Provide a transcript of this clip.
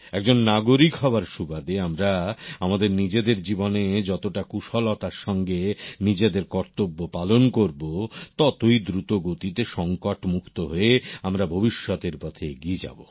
একজন নাগরিক হওয়ার সুবাদে আমরা আমাদের নিজেদের জীবনে যতটা কুশলতার সঙ্গে নিজেদের কর্তব্য পালন করব ততই দ্রুতগতিতে সংকট মুক্ত হয়ে আমরা ভবিষ্যতের পথে এগিয়ে যাব